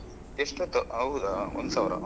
ಎಷ್ಟದ್ದು ಹೌದಾ ಒಂದು ಸಾವಿರ.